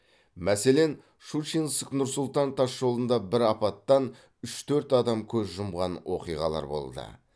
мәселен щучинск нұр сұлтан тасжолында бір апаттан үш төрт адам көз жұмған оқиғалар болды